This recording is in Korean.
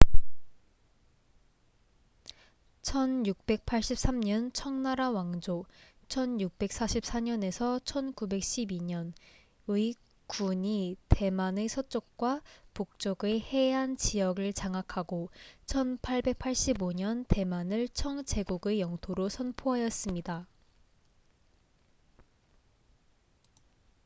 1683년 청나라 왕조1644~1912의 군이 대만의 서쪽과 북쪽의 해안 지역을 장악하고 1885년 대만을 청 제국의 영토로 선포하였습니다